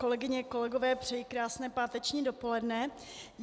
Kolegyně, kolegové, přeji krásné páteční dopoledne.